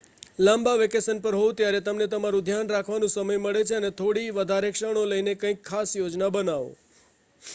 લાંબા વેકેશન પર હોવ ત્યારે તમને તમારું ધ્યાન રાખવાનો સમય મળે છે અને થોડી વધારે ક્ષણો લઈને કઇંક ખાસ યોજના બનાવો